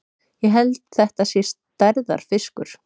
Ég held þetta sé stærðarfiskur!